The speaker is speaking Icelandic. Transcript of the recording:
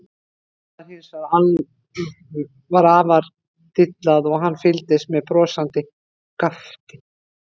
Daða var hins vegar afar dillað og hann fylgdist með brosandi og gapti.